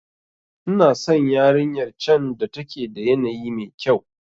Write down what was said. Ina san yarinyar can da take da yanayi mekyau.